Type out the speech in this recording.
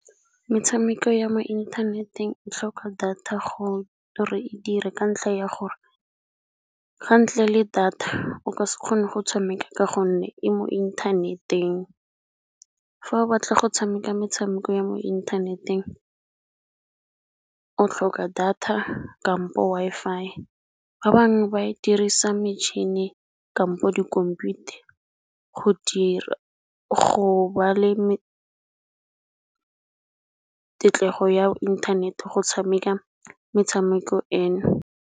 Metshameko ya mo inthaneteng o tlhoka data gore e dire ka ntlha ya gore ka ntle le data o ka se kgone go tshameka ka gonne e mo inthaneteng. Fa o batla go tshameka metshameko ya mo inthaneteng o tlhoka data kampo Wi-Fi. Ba bangwe ba dirisa metšhini kampo di khomputa go dira go ba le tetlego ya inthanete go tshameka metshameko eno.